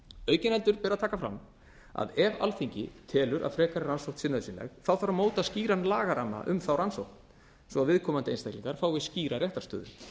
aukin heldur ber að taka fram að ef alþingi telur að frekari rannsókn sé nauðsynleg þarf að móta skýran lagaramma um þá rannsókn svo að viðkomandi einstaklingar fái skýra réttarstöðu